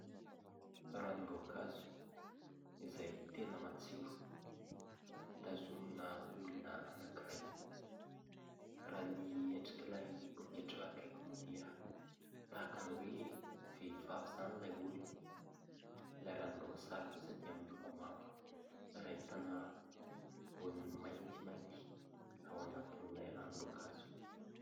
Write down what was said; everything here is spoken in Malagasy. Ranom-boankazo izay tena matsiro, tazonina olona anankiray. Raha ny endrik'ilay poketra akaiky moa dia tahaka ny hoe vehivavy izany ilay olona. Ilay ranomboasary kosa dia miloko mavo ary ahitana voany maintimainty ao anatin'ilay ranom-boankazo.